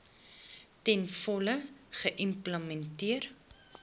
ten volle geïmplementeer